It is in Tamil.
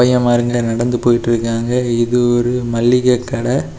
பைய மாருங்க நடந்து போய்ட்டுருக்காங்க ஏதோ ஒரு மல்லிக கட.